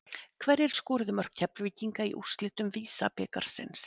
Hverjir skoruðu mörk Keflvíkinga í úrslitum VISA-bikarsins?